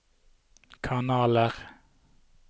kanaler